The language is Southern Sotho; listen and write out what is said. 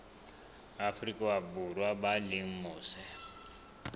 afrika borwa ba leng mose